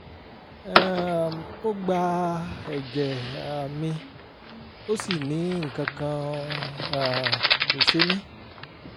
um ó gba ẹ̀jẹ̀ um mi ó sì ní nǹkan kan um kò ṣe mí